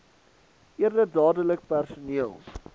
eerder dadelik personeel